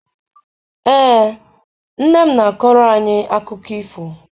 Ee, nne m na-akọrọ anyị akụkọ ifo.